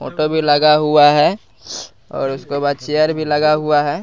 उनका भी लगा हुआ है और उसके पास चेयर भी लगा हुआ है।